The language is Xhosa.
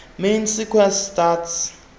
main sequence stars